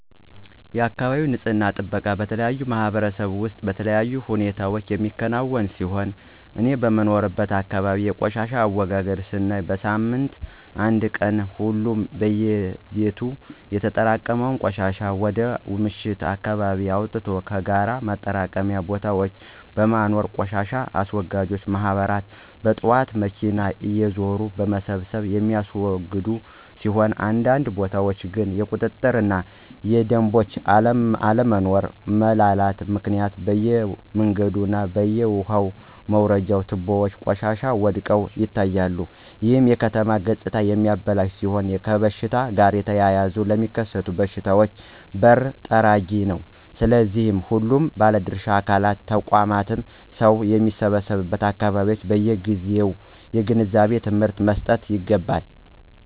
የአካባቢ ንፅህና ጥበቃ በተለያዩ ማህበረሰቦች ውስጥ በተለያዩ ሁኔታዎች የሚከናወን ሲሆን እኔ በምኖርበት አካባቢ የቆሻሻ አወጋገድ ስናይ በሳምንት አንድ ቀን ሁሉም በየቤቱ ያጠራቀመውን ቆሻሻ ወደ ምሽት አካባቢ አወጥቶ ከጋራ ማጠራቀሚያ ቦታዎች በማኖር ቆሻሻ አስወጋጅ ማህበራት በጥዋት በመኪና እየዞሩ በመሰብሰብ የሚወስዱት ሲሆን አንዳንድ ቦታዎች ግን የቁጥጥር እና የደምቦች አለመኖሮ (መላላት)ምክንያት በየመንገዱ እና በየውሃ መውረጃ ትቦዎች ቆሻሻዎች ወድቀው ይታያሉ ይህም የከተማ ገፅታ የሚያበላሽ ሲሆን ከሽታ ጋር ተያይዘው ለሚከሰቱ በሽታዎች በር ጠራጊ ነው። ስለሆነም ሁሉም ባለድርሻ አካላት (ተቋማት) ሰው በሚሰበሰቡበት አካባቢዎች በየጊዜው የግንዛቤ ትምህርት መሰጠት ይገባል።